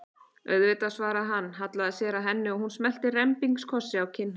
Auðvitað, svaraði hann, hallaði sér að henni og hún smellti rembingskossi á kinn hans.